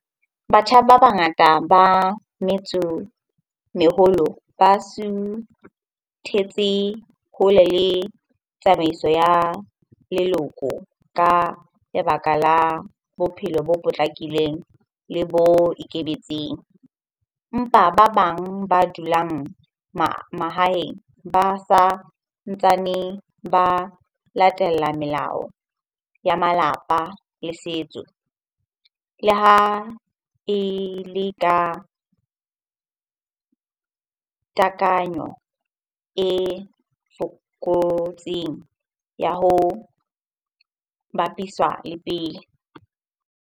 Batjha ba bangata ba metso meholo ba suthetse hole le tsamaiso ya leloko ka lebaka la bophelo bo potlakileng le bo ikemetseng. Empa ba bang ba dulang mahaeng ba sa ntsane ba latella melao ya malapa le setso. Le ha e le ka takanyo e fokotseng ya ho bapiswa le pele.